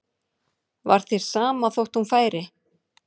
Var þér sama þótt hún færi?